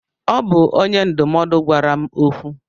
Ọ bụ onye ndụmọdụ gwara m okwu.